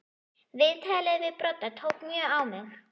Viðtalið við Brodda tók mjög á mig.